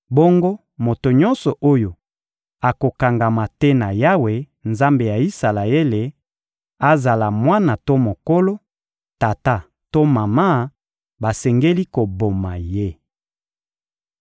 bongo moto nyonso oyo akokangama te na Yawe, Nzambe ya Isalaele, azala mwana to mokolo, tata to mama, basengeli koboma ye.